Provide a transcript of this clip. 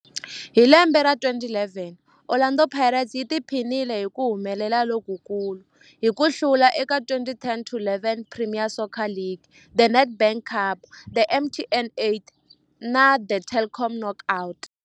Hi lembe ra 2011, Orlando Pirates yi tiphinile hi ku humelela lokukulu hi ku hlula eka 2010-11 Premier Soccer League, The Nedbank Cup, The MTN 8 Cup na The Telkom Knockout.